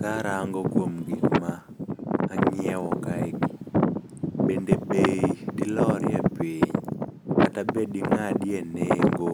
Karango kuom gik ma ang'iewo kaegi, bende bei dilorie piny, kata bende ding'adie nengo